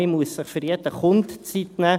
Man muss sich für jeden Kunden Zeit nehmen.